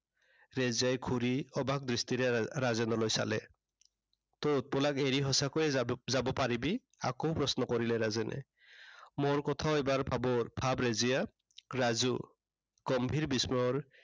ৰেজিয়াই ঘূৰি অবাক দৃষ্টিৰে ৰা~ৰাজেনলৈ চালে। তই উৎপলাক এৰি সঁচাকৈয়ে যা~যাব পাৰিবি? আকৌ প্ৰশ্ন কৰিলে ৰাজেনে। মোৰ কথাও এবাৰ ভাবো ভাব ৰেজিয়া। ৰাজু, গম্ভীৰ বিস্ময়ৰ